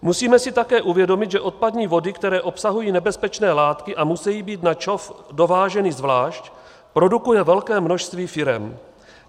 Musíme si také uvědomit, že odpadní vody, které obsahují nebezpečné látky a musejí být na ČOV dováženy zvlášť, produkuje velké množství firem.